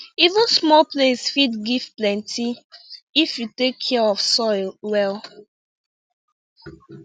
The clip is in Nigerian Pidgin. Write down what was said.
even small place fit give plenty if you take care of soil well